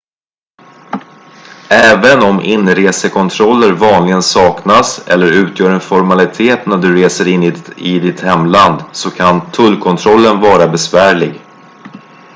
även om inresekontroller vanligen saknas eller utgör en formalitet när du reser in i ditt hemland så kan tullkontrollen vara besvärlig